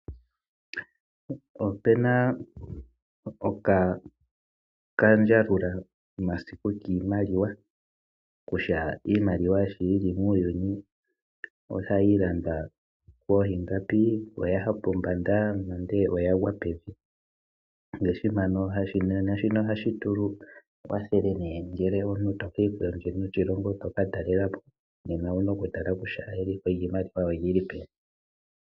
Opu na okandjalulamasiku kiimaliwa kutya iimaliwa sho yi li muuyuni ohayi landwa koo ingapi, Oya ya pombanda nenge oya gwa pevi. Ngaashi mpano. Shika ohashi tu kwathele uuna to ka enda kondje yoshilongo to ka talela po nena owu na okutala kutya eliko lyiimaliwa oli li peni.